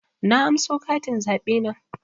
Na anso katin zaɓe na